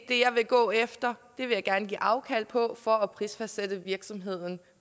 det jeg vil gå efter det vil jeg gerne give afkald på for at prisfastsætte virksomheden